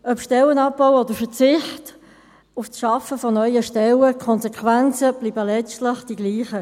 Ob Stellenabbau oder Verzicht auf die Schaffung neuer Stellen, die Konsequenzen bleiben letztlich dieselben: